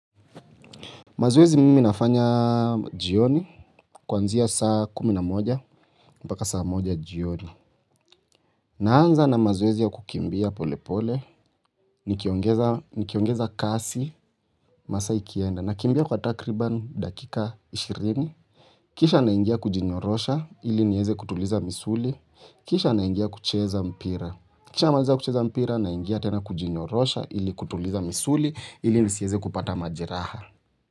Mazoezi mimi nafanya, jioni kuanzia saa kumi na moja, mpaka saa moja jioni naanza na mazoezi ya kukimbia pole pole, nikiongeza, nikiongeza kasi masaa ikienda, nakimbia kwa takriban dakika ishirini, kisha naingia kujinyorosha, ili niweze kutuliza misuli kisha naingia kucheza mpira, nikishamaliza kucheza mpira, naingia tena kujinyorosha, ili kutuliza misuli, ili nisiweze kupata majeraha.